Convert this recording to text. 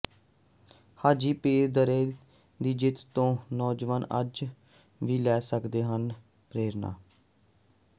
ਹਾਜੀਪੀਰ ਦੱਰੇ ਦੀ ਜਿੱਤ ਤੋਂ ਨੌਜਵਾਨ ਅੱਜ ਵੀ ਲੈ ਸਕਦੇ ਹਨ ਪ੍ਰੇਰਣਾ